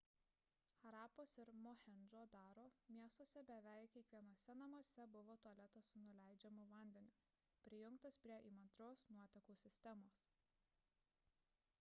harapos ir mohendžo daro miestuose beveik kiekvienuose namuose buvo tualetas su nuleidžiamu vandeniu prijungtas prie įmantrios nuotekų sistemos